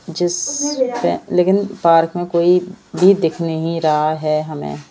जिसपे लेकिन पार्क में कोई भी दिख नहीं रहा है हमें।